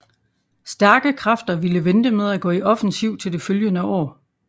Stærke kræfter ville vente med at gå i offensiv til det følgende år